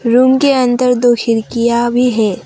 Room के अंदर दो खिड़कियां भी है।